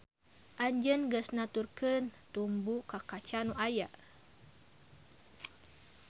Anjeun geus nuturkeun tumbu ka kaca nu can aya.